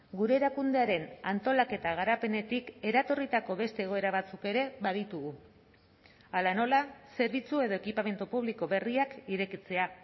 gure erakundearen antolaketa garapenetik eratorritako beste egoera batzuk ere baditugu hala nola zerbitzu edo ekipamendu publiko berriak irekitzea